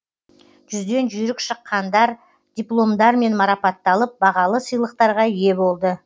жүзден жүйрік шыққандар дипломдармен марапатталып бағалы сыйлықтарға ие болды